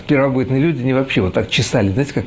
первобытные люди не вообще вот так чесались знаете как